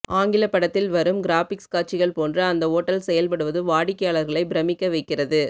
ஆங்கிலப்படத்தில் வரும் கிராபிக்ஸ் காட்சிகள் போன்று அந்த ஓட்டல் செயல்படுவது வாடிக்கையாளர்களை பிரமிக்க வைக்கிறது